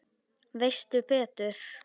Veistu betur?